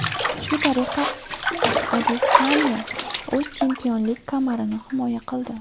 Shu tariqa Adesanya o‘z chempionlik kamarini himoya qildi.